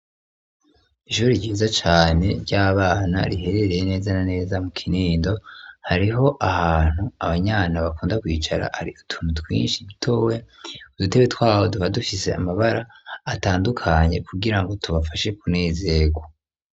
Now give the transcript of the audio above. Ishuri ryiza cane ry'abana riherereye neza naneza mu Kinindo hariho ahantu abana bakunda kwicara hariko utuntu twinshi dutoya kudutebe twabo tuba dufise amabara atandukanye kugirango tubafashe kunezerwa.